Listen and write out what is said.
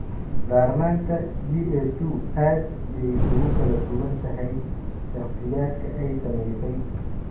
Darnaanta GA2 aad bay ugu kala duwan tahay shakhsiyaadka ay saamaysay.